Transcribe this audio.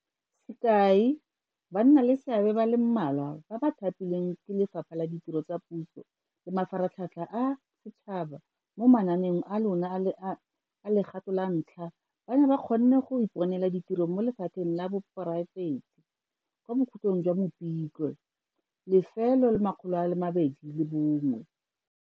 Sekai, bannaleseabe ba le mmalwa ba ba thapilweng ke Lefapha la Ditiro tsa Puso le Mafaratlhatlha a Setšhaba mo mananeong a lona a le a, a legato la ntlha ba ne ba kgonne go iponela ditiro mo lephateng la poraefete kwa bokhutlong jwa Mopitlwe 2021.